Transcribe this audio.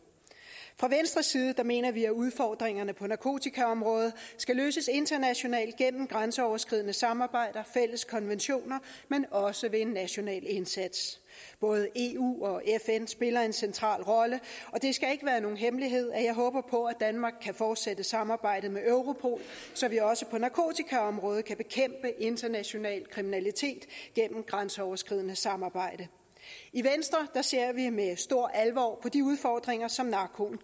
fra venstres side mener vi at udfordringerne på narkotikaområdet skal løses internationalt gennem grænseoverskridende samarbejde og fælles konventioner men også ved en national indsats både eu og fn spiller en central rolle og det skal ikke være nogen hemmelighed at jeg håber på at danmark kan fortsætte samarbejdet med europol så vi også på narkotikaområdet kan bekæmpe international kriminalitet gennem grænseoverskridende samarbejde i venstre ser vi med stor alvor på de udfordringer som narkoen